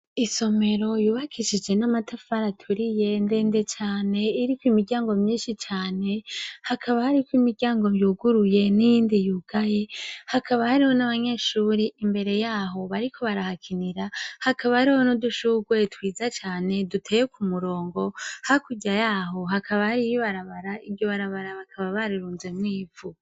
Isomero yubakishije n'amatafara turi ye nde nde cane iriko imiryango myinshi cane hakaba hariko imiryango vyuguruye n'iyindi yugaye hakaba hariho n'abanyeshuri imbere yaho bariko barahakinira hakaba hari ho no dushugeye twiza cane duteye ku murongo hakurya yaho hakabai iyibarabara iryo barabara bakaba barirunze mo ipfu.